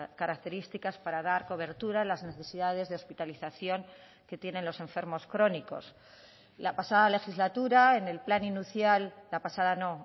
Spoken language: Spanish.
características para dar cobertura a las necesidades de hospitalización que tienen los enfermos crónicos la pasada legislatura en el plan inicial la pasada no